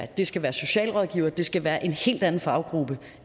det skal være socialrådgivere det skal være en helt anden faggruppe